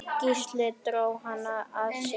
Gísli dró hana að sér.